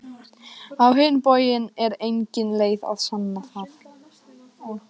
Á hinn bóginn er engin leið að sanna það.